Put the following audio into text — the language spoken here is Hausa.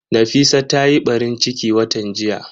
Nafisa ta yi ɓarin ciki watan jiya